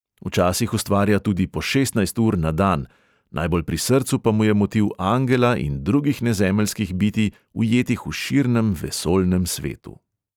Včasih ustvarja tudi po šestnajst ur na dan, najbolj pri srcu pa mu je motiv angela in drugih nezemeljskih bitij, ujetih v širnem vesoljnem svetu.